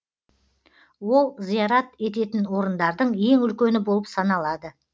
ол зиярат ететін орындардың ең үлкені болып саналады